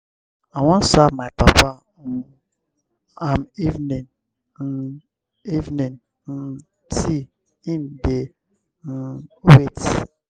i wan serve my papa um im evening um evening um tea im dey um wait.